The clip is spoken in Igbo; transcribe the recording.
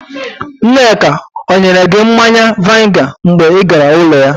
Nneka ọ nyere gị mmanya vainga mgbe ị gara ụlọ ya?